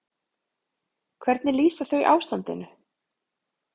Hvernig lýsa þau ástandinu?